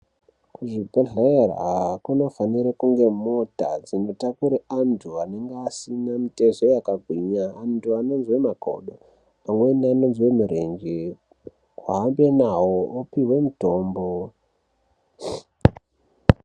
Kuzvibhedhlera kunofanira kunge kuine mota dzinotakura vantu vanenge vasina mutezo wakagwinyaanhu anozwe makodo, amweni anozwe mirenje ohamba nawo opiwe mitombo .